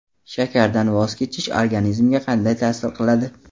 Shakardan voz kechish organizmga qanday ta’sir qiladi?.